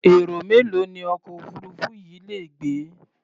Èrò mélòó ni ọkọ̀ òfuururú yìí lè gbé?